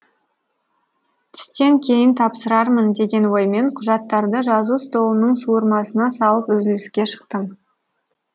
түстен кейін тапсырармын деген оймен құжаттарды жазу столының суырмасына салып үзіліске шықтым